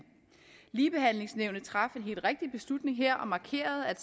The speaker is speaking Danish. ligebehandlingsnævnet traf en helt rigtig beslutning her og markerede at